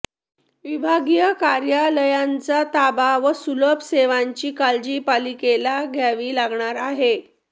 विभागीय कार्यालयांचा ताबा व सुलभ सेवांची काळजी पालिकेला घ्यावी लागणार आहे